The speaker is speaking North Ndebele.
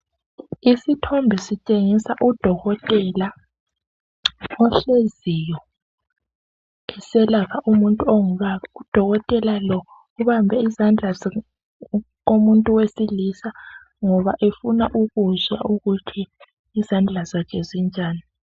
Isithombe sitshengisa udokotela ohleziyo eselapha umuntu ongubaba, udokotela lowo ubambe izandla zomuntu owesilisa ngoba efuna ukuzwa ukuthi izandla zakhe zinjani.